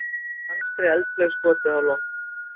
Danskri eldflaug skotið á loft